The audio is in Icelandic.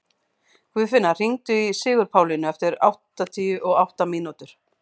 Guðfinna, hringdu í Sigurpálínu eftir áttatíu og átta mínútur.